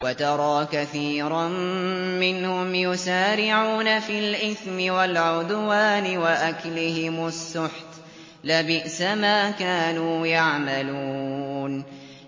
وَتَرَىٰ كَثِيرًا مِّنْهُمْ يُسَارِعُونَ فِي الْإِثْمِ وَالْعُدْوَانِ وَأَكْلِهِمُ السُّحْتَ ۚ لَبِئْسَ مَا كَانُوا يَعْمَلُونَ